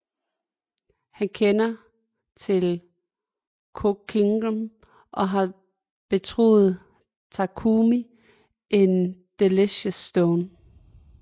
Han kender til CooKingdom og har betroet Takumi en Delicious Stone